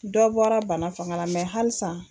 Dɔ bɔra bana fanga la halisa.